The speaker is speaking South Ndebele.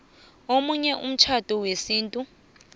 omunye umtjhado wesintu